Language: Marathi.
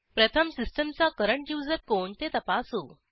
प्रथम सिस्टीमचा करंट युजर कोण ते तपासू